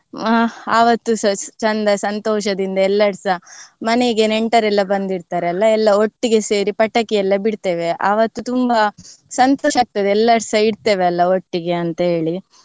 ಆವತ್ತುಸ ಚಂದ ಸಂತೋಷದಿಂದ ಎಲ್ಲ್ರರ್ಸ ಮನೆಗೆ ನೆಂಟರೆಲ್ಲ ಬಂದಿರ್ತಾರಲ್ಲ ಎಲ್ಲ ಒಟ್ಟಿಗೆ ಸೇರಿ ಪಟಾಕಿ ಎಲ್ಲ ಬಿಡ್ತೇವೆ. ಅವತ್ತು ತುಂಬಾ ಸಂತೋಷ ಆಗ್ತದೆ ಎಲ್ಲರ್ಸ ಇರ್ತೇವೆ ಅಲ್ಲ ಒಟ್ಟಿಗೆ ಅಂತೇಳಿ.